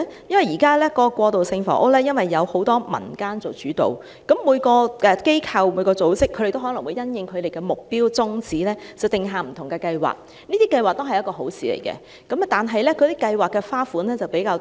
因為現時過渡性房屋由多個民間組織做主導，每個機構和組織也可能因應其目標和宗旨定下不同計劃，這些計劃也是好的，但計劃的形式則較多。